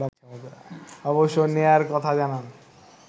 অবসর নেয়ার কথা জানান